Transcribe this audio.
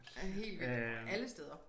Helt vildt og alle steder